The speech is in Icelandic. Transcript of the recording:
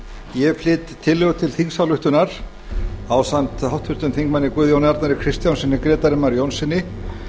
ég flyt tillögu til þingsályktunar ásamt háttvirtum þingmanni guðjóni arnari kristjánssyni grétari mar jónssyni